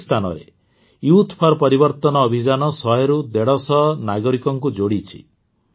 ପ୍ରତ୍ୟେକ ସ୍ଥାନରେ youth for Parivartan ଅଭିଯାନ ଶହେରୁ ଦେଢ଼ଶହ ନାଗରିକଙ୍କୁ ଯୋଡ଼ିଛି